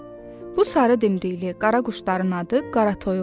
Bu sarı dimdikli qara quşların adı qaratoyuqdur.